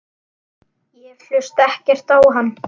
Ég hlusta ekkert á hann.